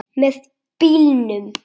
Með bílnum.